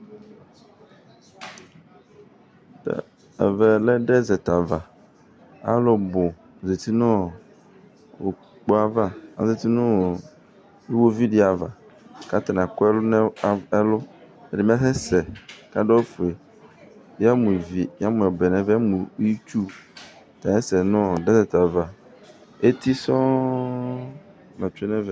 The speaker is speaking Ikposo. Ɛvɛ lɛ dezɛt ava Alʋ bʋ zati nʋ ugbo ava Azati nʋ iɣoviu dɩ ava kʋ atanɩ akʋ ɛlʋ nʋ ɛlʋ Ɛdɩnɩ bɩ asɛsɛ kʋ adʋ awʋfue Yamʋ ivi, yamʋ ɔbɛ ɛvɛ, yamʋ itsu tɛ ɛkasɛsɛ nʋ dezɛt ava, eti sɔŋ la tsue nʋ ɛvɛ